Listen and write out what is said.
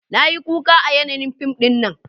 Na yi kuka a yanayin fim dinnan